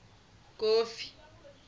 kofi